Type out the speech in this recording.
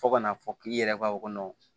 Fo ka n'a fɔ k'i yɛrɛ ka o kɔnɔ